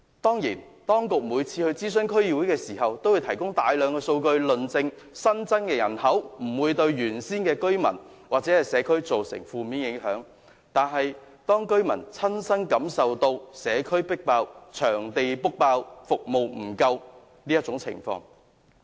當然，當局每次諮詢區議會均會提供大量數據，證明新增人口不會對原有的居民或社區造成負面影響，但當區居民的親身感受卻是社區爆滿、場地預約額滿及服務不足。